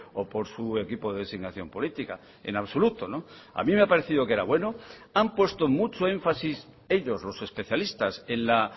o por su equipo de designación política en absoluto a mí me ha parecido que era bueno han puesto mucho énfasis ellos los especialistas en la